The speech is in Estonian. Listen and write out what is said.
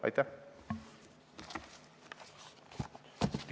Aitäh!